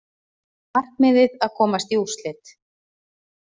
Markmiðið að komast í úrslit